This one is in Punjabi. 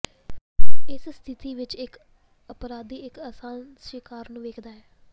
ਇਸ ਸਥਿਤੀ ਵਿੱਚ ਇੱਕ ਅਪਰਾਧੀ ਇੱਕ ਆਸਾਨ ਸ਼ਿਕਾਰ ਨੂੰ ਵੇਖਦਾ ਹੈ